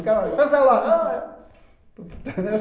O cara thanks a lot.